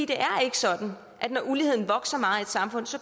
det er ikke sådan at når uligheden vokser meget i et samfund så